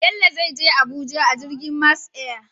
Bello zai Je Abuja a jirgin Max Air